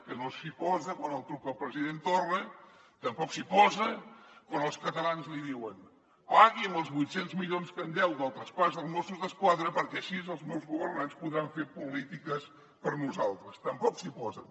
que no s’hi posa quan li truca el president torra tampoc s’hi posa quan els catalans li diuen pagui’m els vuit cents milions que em deu del traspàs dels mossos d’esquadra perquè així els meus governants podran fer polítiques per nosaltres tampoc s’hi posen